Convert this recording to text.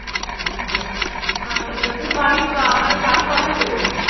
আচ্ছা আচ্ছা তুমি বাড়ি বা মানে বাড়ি কটায় ফেরো?